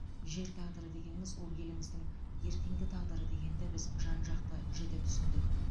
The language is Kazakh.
жер тағдыры дегеніміз ол еліміздің ертеңгі тағдыры дегенді біз жан жақты жіті түсіндік